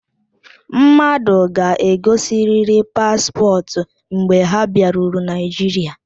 Mmadụ ga-egosiriri paspọtụ mgbe ha bịaruru Naịjiria.